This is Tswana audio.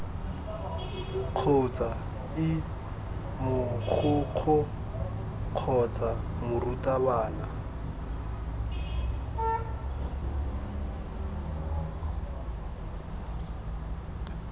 kgotsa ii mogokgo kgotsa morutabana